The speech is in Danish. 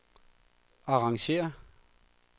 arrangér